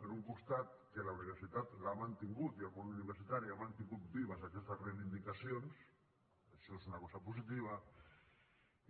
per un costat que la universitat l’ha mantingut i el món universitari ha mantingut vives aquestes reivindicacions això és una cosa positiva